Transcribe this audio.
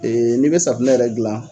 Ee ni bɛ safinɛ yɛrɛ gilan.